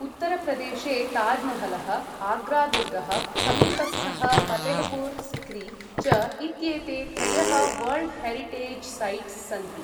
उत्तरप्रदेशे ताजमहलः, आगरादुर्गः, समीपस्थः फतेहपुरसीकरी च इत्येते त्रयः वर्ल्ड् हेरिटेज् सैट्स् सन्ति।